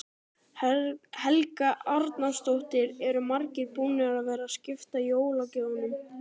Helga Arnardóttir: Eru margir búnir að vera að skipta jólagjöfunum?